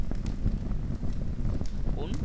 কোন?